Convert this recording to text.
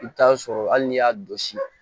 I bɛ taa sɔrɔ hali n'i y'a dɔ si